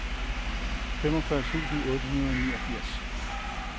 femogfyrre tusind otte hundrede og niogfirs